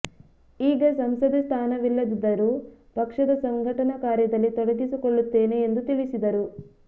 ಈಗ ಸಂಸದೆ ಸ್ಥಾನವಿಲ್ಲದಿದ್ದರೂ ಪಕ್ಷದ ಸಂಘಟನಾ ಕಾರ್ಯದಲ್ಲಿ ತೊಡಗಿಸಿಕೊಳ್ಳುತ್ತೇನೆ ಎಂದು ತಿಳಿಸಿದರು